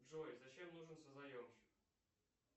джой зачем нужен созаемщик